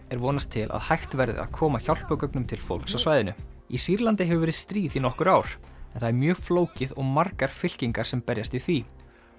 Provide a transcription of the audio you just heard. er vonast til að hægt verði að koma hjálpargögnum til fólks á svæðinu í Sýrlandi hefur verið stríð í nokkur ár en það er mjög flókið og margar fylkingar sem berjast í því